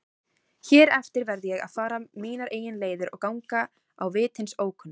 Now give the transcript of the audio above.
Hér eftir verð ég að fara mínar eigin leiðir og ganga á vit hins ókunna.